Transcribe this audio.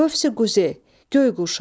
Qövsi-quzeh, göy qurşağı.